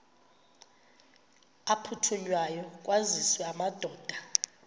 aphuthunywayo kwaziswe amadoda